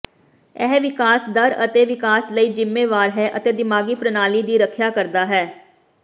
ਇਹ ਵਿਕਾਸ ਦਰ ਅਤੇ ਵਿਕਾਸ ਲਈ ਜ਼ਿੰਮੇਵਾਰ ਹੈ ਅਤੇ ਦਿਮਾਗੀ ਪ੍ਰਣਾਲੀ ਦੀ ਰੱਖਿਆ ਕਰਦਾ ਹੈ